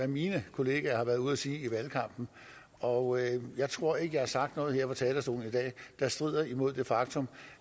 mine kollegaer har været ude at sige i valgkampen og jeg jeg tror ikke jeg har sagt noget her på talerstolen i dag der strider imod det faktum